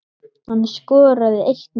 Hann skoraði eitt mark.